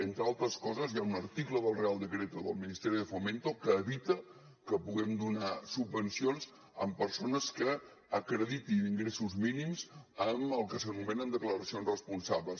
entre altres coses hi ha un article del real decreto del ministerio de fomento que evita que puguem donar subvencions a persones que acreditin ingressos mínims amb el que s’anomenen declaracions responsables